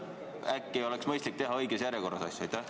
Äkki oleks mõistlik teha asju õiges järjekorras?